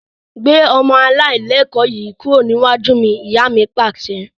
Gbé ọmọ alailẹkọ̀ yìí kúrò níwájú mi! Ìyá mi Pàṣẹ.